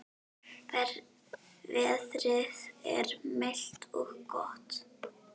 Veðrið er milt og gott.